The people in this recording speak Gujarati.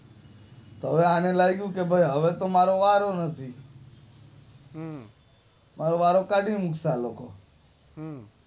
હવે આને લાગુ કે હવે તો મારો વારો નથી હવે વારો કાઢી મુકશે